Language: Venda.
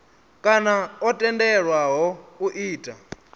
kana o tendelwaho u ita